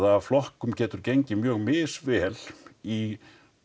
að flokkum getur gengið mjög misvel í